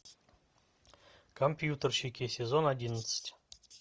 компьютерщики сезон одиннадцать